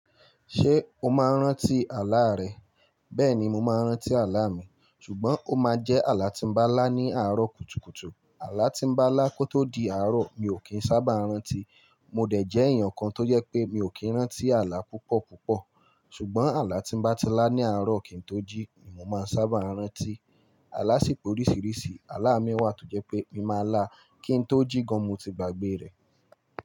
Ṣé o máa ń rántí àlá rẹ? Bẹ́ẹ̀ ni mo máa ń rántí àlá mi, ṣùgbọ́n ó máa jẹ́ àlá tí ń bá lá ní àárọ̀ kùtùkùtù. Àlá tí ń bá lá kó tó di àárọ̀ mi ò kì í sábà rántí. Mo dẹ̀ jẹ́ èèyàn kan tó jẹ́ pé mi ò kí ń rántí àlá púpọ̀ púpọ̀. Ṣùgbọ́n àlá tí ń bá ti lá ní àárọ̀ kí n tó jí ni mo máa ń sábà rántí. Àlá sì pé oríṣìíríṣìí àlá mi wà tó jẹ́ pé mi máa lá kín tó jí gan mo ti gbá gbé rẹ̀.